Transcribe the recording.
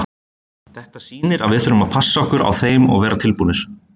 Þetta sýnir að við þurfum að passa okkur á þeim og vera tilbúnir.